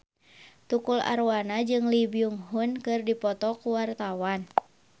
Tukul Arwana jeung Lee Byung Hun keur dipoto ku wartawan